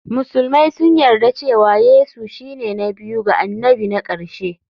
Musulmai sun yarda cewa Yesu shine na biyu ga annabi na ƙarshe.